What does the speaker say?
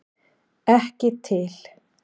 Ekki til!